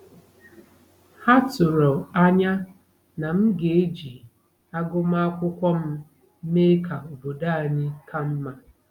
Ha tụrụ anya na m ga-eji agụmakwụkwọ m mee ka obodo anyị ka mma.